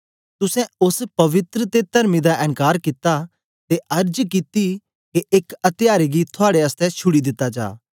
तुसें ओस पवित्र ते तरमी दा एन्कार कित्ता ते अर्ज कित्ती के एक अत्यारे गी थुआड़े आसतै छुड़ी दिता जा